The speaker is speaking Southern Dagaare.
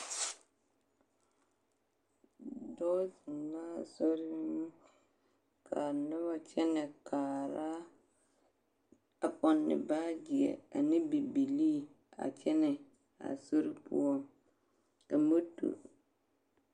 Dɔɔ zeŋɛɛ soriŋ ka a noba kyɛnɛ kaara a pɔnne baageɛ ane bibilii a kyɛnɛ a sori poɔ ka motor.